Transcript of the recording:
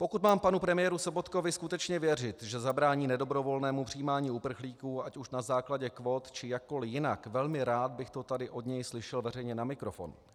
Pokud mám panu premiéru Sobotkovi skutečně věřit, že zabrání nedobrovolnému přijímání uprchlíků, ať už na základě kvót, či jakkoli jinak, velmi rád by to tady od něj slyšel veřejně na mikrofon.